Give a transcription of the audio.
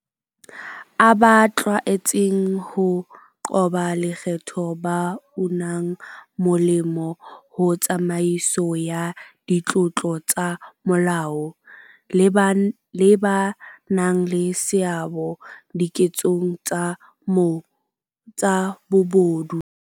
a ba tlwaetseng ho qoba lekgetho, ba unang molemo ho tsamaiso ya ditlolo tsa molao, le ba nang le seabo diketsong tsa bobodu.